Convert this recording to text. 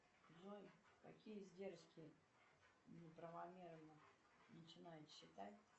джой какие издержки неправомерно начинают считать